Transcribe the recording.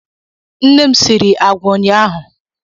Nne m sịrị àgwà ụnyaahụ.